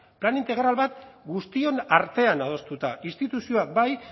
plan integral bat guztion artean adostuta instituzioak bai